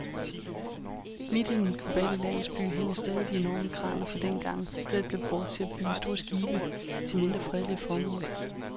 Midt i den globale landsby hænger stadig de enorme kraner fra dengang, stedet blev brugt til at bygge store skibe til mindre fredelige formål.